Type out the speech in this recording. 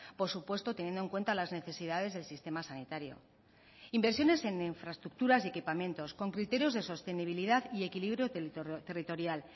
por supuesto teniendo en cuenta las necesidades del sistema sanitario inversiones en infraestructuras y equipamientos con criterios de sostenibilidad y equilibrio territorial